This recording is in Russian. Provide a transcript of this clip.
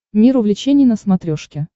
мир увлечений на смотрешке